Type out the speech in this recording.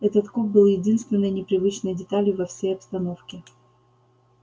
этот куб был единственной непривычной деталью во всей обстановке